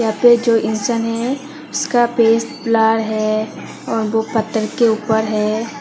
यहां पे जो इंसान है उसका फेस ब्लर है और वो पत्थर के ऊपर है।